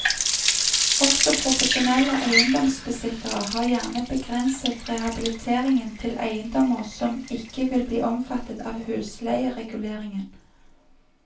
Også profesjonelle eiendomsbesittere har gjerne begrenset rehabiliteringen til eiendommer som ikke vil bli omfattet av husleiereguleringen.